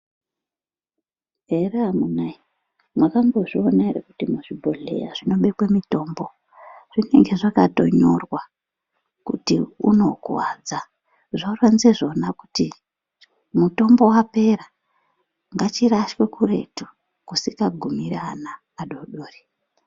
Here amuna ee mwaka mbozviona ere kuti muzvi bhodhleya zvinobekwa mutombo zvinenge zvaka tonyorwa kuti uno kuwadza zvinoronza zvona kuti mutombo wapera ngachi rashwe kuretu kusinga gumiri ana adodori.